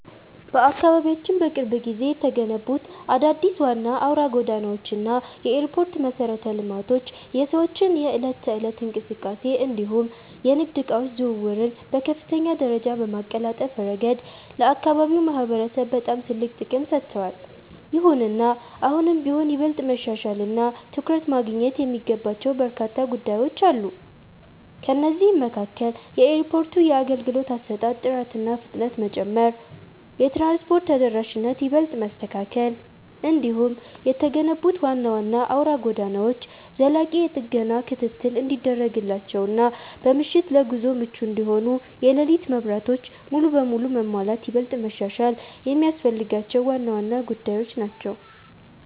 በአካባቢያችን በቅርብ ጊዜ የተገነቡት አዳዲስ ዋና አውራ ጎዳናዎች እና የኤርፖርት መሠረተ ልማቶች የሰዎችን የዕለት ተዕለት እንቅስቃሴ እንዲሁም የንግድ ዕቃዎች ዝውውርን በከፍተኛ ደረጃ በማቀላጠፍ ረገድ ለአካባቢው ማህበረሰብ በጣም ትልቅ ጥቅም ሰጥተዋል። ይሁንና አሁንም ቢሆን ይበልጥ መሻሻልና ትኩረት ማግኘት የሚገባቸው በርካታ ጉዳዮች አሉ። ከእነዚህም መካከል የኤርፖርቱ የአገልግሎት አሰጣጥ ጥራትና ፍጥነት መጨመር፣ የትራንስፖርት ተደራሽነትን ይበልጥ ማስተካከል፣ እንዲሁም የተገነቡት ዋና ዋና አውራ ጎዳናዎች ዘላቂ የጥገና ክትትል እንዲደረግላቸውና በምሽት ለጉዞ ምቹ እንዲሆኑ የሌሊት መብራቶች ሙሉ በሙሉ መሟላት ይበልጥ መሻሻል የሚያስፈልጋቸው ዋና ዋና ጉዳዮች ናቸው።